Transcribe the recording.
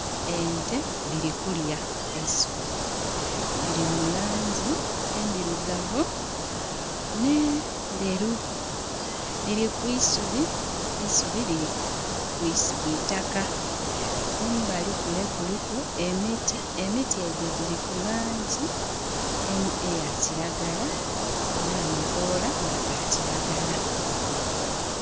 Omusaadha agemye ekyenandha mungalo dhe. Ayambaire e kala eya bululu, wansi. Ayambaire empale enderu yeru alaga nti avakyaala